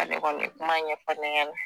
K'ale kɔni ye kuma ɲɛfɔ ne ɲɛnɛ